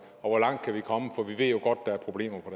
og hvor langt vi kan komme for vi ved jo godt der er problemer på